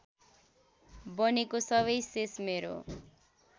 बनेको सबै शेष मेरो